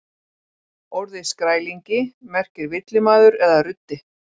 Orðið skrælingi merkir villimaður eða ruddi.